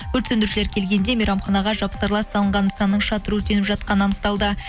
өрт сөндірушілер келгенде мейрамханаға жапсарлас салынған нысанның шатыры өртеніп жатқаны анықталды